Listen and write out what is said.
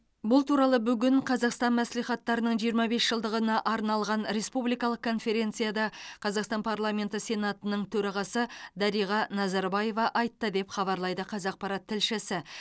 бұл туралы бүгін қазақстан мәслихаттарының жиырма бес жылдығына арналған республикалық конференцияда қазақстан парламенті сенатының төрағасы дариға назарбаева айтты деп хабарлайды қазақпарат тілшісі